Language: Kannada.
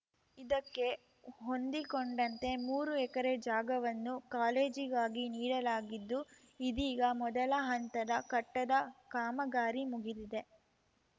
ಇದಕ್ಕೆ ಹೊಂದಿಕೊಂಡಂತೆ ಮೂರು ಎಕರೆ ಜಾಗವನ್ನು ಕಾಲೇಜಿಗಾಗಿ ನೀಡಲಾಗಿದ್ದು ಇದೀಗ ಮೊದಲ ಹಂತದ ಕಟ್ಟಡ ಕಾಮಗಾರಿ ಮುಗಿದಿದೆ